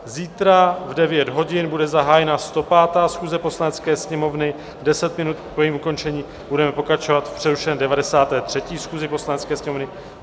Zítra v 9 hodin bude zahájena 105. schůze Poslanecké sněmovny, 10 minut po jejím ukončení budeme pokračovat v přerušené 93. schůzi Poslanecké sněmovny.